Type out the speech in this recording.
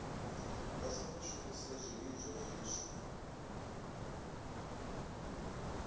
vha songo shumisa zwiliṅwa zwiswa